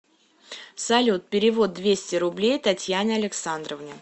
салют перевод двести рублей татьяне александровне